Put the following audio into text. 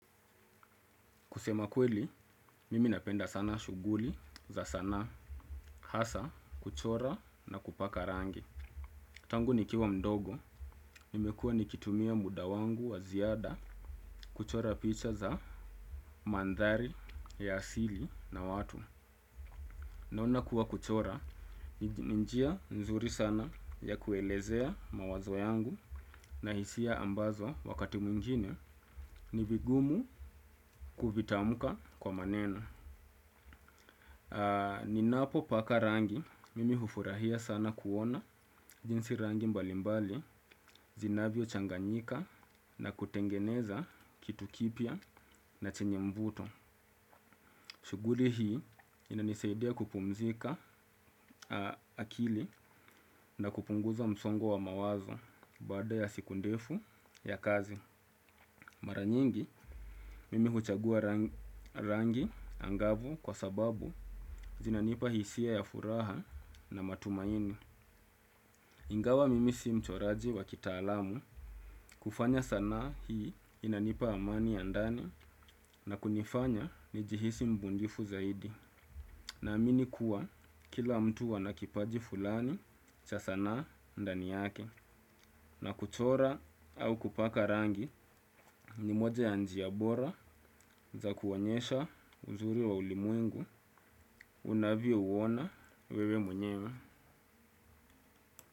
Kusema kweli, mimi napenda sana shughuli za sanaa hasa kuchora na kupaka rangi. Tangu nikiwa mdogo, nimekuwa nikitumia muda wangu wa ziada kuchora picha za mandhari ya asili na watu. Naona kuwa kuchora, ni njia nzuri sana ya kuelezea mawazo yangu na hisia ambazo wakati mwingine ni vigumu kuvitamuka kwa maneno. Ninapo paka rangi, mimi hufurahia sana kuona jinsi rangi mbalimbali zinavyo changanyika na kutengeneza kitu kipya na chenye mvuto. Shughuli hii inanisaidia kupumzika akili na kupunguza msongo wa mawazo baada ya siku ndefu ya kazi. Mara nyingi, mimi huchagua rangi angavu kwa sababu zinanipa hisia ya furaha na matumaini. Ingawa mimi si mchoraji wa kitaalamu, kufanya sanaa hii inanipa amani ya ndani na kunifanya ni jihisi mbunifu zaidi. Naamini kuwa kila mtu ana kipaji fulani cha sanaa ndani yake. Na kuchora au kupaka rangi ni moja ya njia bora za kuonyesha uzuri wa ulimwengu unavyo uona wewe mwenyewe.